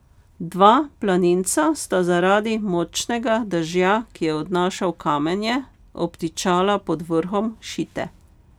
Dva planinca sta zaradi močnega dežja, ki je odnašal kamenje, obtičala pod vrhom Šite.